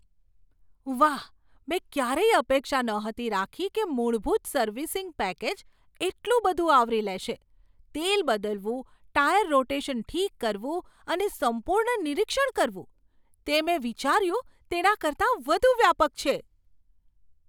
વાહ, મેં ક્યારેય અપેક્ષા નહોતી રાખી કે મૂળભૂત સર્વિસિંગ પેકેજ એટલું બધું આવરી લેશે તેલ બદલવું, ટાયર રોટેશન ઠીક કરવું અને સંપૂર્ણ નિરીક્ષણ કરવું. તે મેં વિચાર્યું તેના કરતાં વધુ વ્યાપક છે!